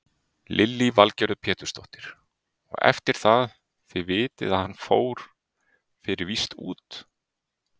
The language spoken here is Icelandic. Lillý Valgerður Pétursdóttir: Og eftir það, þið vitið að hann fór fyrir víst út?